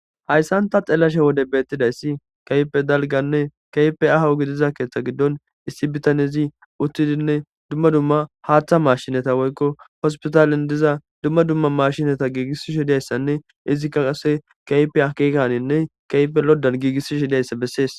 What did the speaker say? hayssa nta xeelashe wode beettidayssi kaype dalganne kaype ahawugi diza keeththa giddon issi bitanezi uttidinne dumma dumma haaththa mashinata woykko hospitalin diza dumma dumma mashinata giigissishi dayssanne izikka ase kaype akikaninne kaype loddan giigissishi dayssa bessees